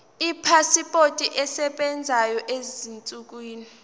ipasipoti esebenzayo ezinsukwini